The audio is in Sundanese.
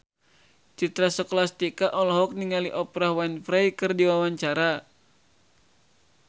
Citra Scholastika olohok ningali Oprah Winfrey keur diwawancara